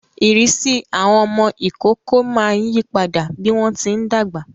Ìrisi awọn ọmọ ïkoko máa ń yipada bi wọn ti ńdagba